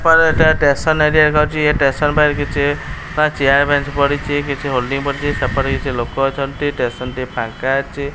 ପର ଏଟା station area ଯାଉଛି ଏ ଷ୍ଟେସନ ପାଖରେ କିଛି ଟା ଚେୟାର ବେଂଚ୍ଚ ପଡ଼ିଛି କିଛି ହୋଲ୍ଡିଂ ପଡିଛି ସେପଟେ କିଛି ଲୋକ ଅଛନ୍ତି ଷ୍ଟେସନ ଟି ଫାଙ୍କା ଅଛି।